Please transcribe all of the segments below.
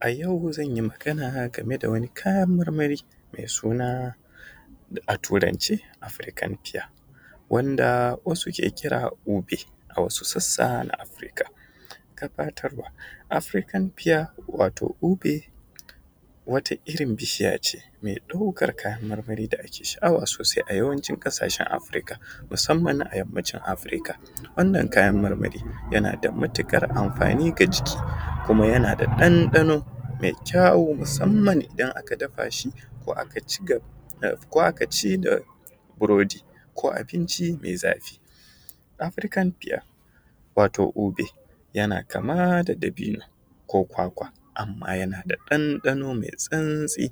A yau zanyi magana game da wani kayan marmari mai suna a Turance (African fear) wanda wasu ke kira obey a wasu sassa na Afrika. Gabatarwa Afrikan fear wato obi wata irin bishiya ce me ɗaukan kayan marmari da ake sha’awa sosai a yawancin ƙasashen Afrika, musamman a yammacin Afrika, wannan kayan marmari yana da matuƙar amfani ga jiki kuma yana da ɗanɗano mai kyau musamman idan aka dafa shi ko a ci da burodi ko abinci mai zafi. Afrikan fiya wato obi, yana kama da dabino ko kwakwa amma yana da ɗanɗano mai santsi,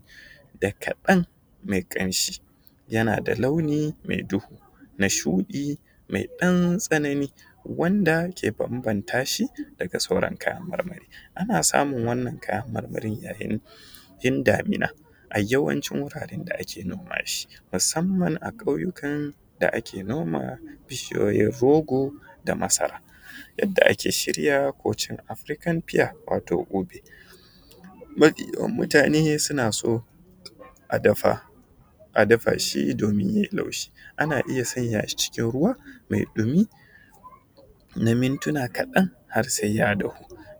da kaɗan mai ƙanshi, yana da launi mai duhu na shuɗi mai dan tsanani, wanda ke ban-bantashi daga kayan sauran marmari. Ana samun wannan kayan marmarin yayin damina, a yawancin wuraren da ake noma shi, musamman a ƙauyukan da ake noma bishiyoyin rogo, da masara. Yadda ake shirya ko cin Afrikan fear wato obi, mafi yawan mutane suna so a dafa, a dafa shi domin ye laushi, ana iya sanya shi cikin ruwa mai ɗumi na mintuna kaɗan har sai ya haɗu,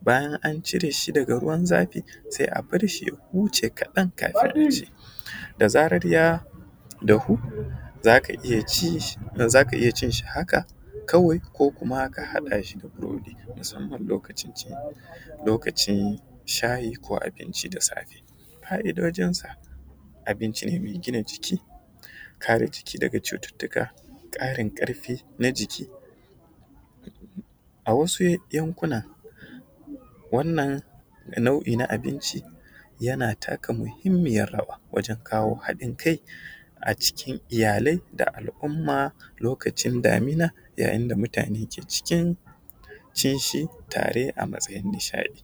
bayan an cire shi daga ruwan zafi sai a barshi ya huce kaɗan kafin aci, da zarar ya dahu zaka iya ci, zaka iya cin shi haka kawai ko kuma ka haɗa shi da burodi, musamman lokacin shayi ko abinci da safe. Fa’idojinsa, abincin ne mai gina jiki, kare jiki daga cututtuka, ƙarin ƙarfi na jiki. A wasu yankunan wannan nau’i na abinci yana taka muhimmiyar rawa wajen kawo haɗin kai a cikin iyali da al’umma lokacin damina ya yin da mutane ke cikin cin shi tare a cikin nishaɗi.